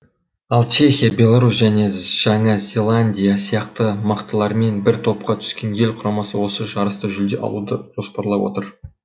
ал чехия беларусь және жаңа зеландия сияқты мықтылармен бір топқа түскен ел құрамасы осы жарыста жүлде алуды жоспарлап отыр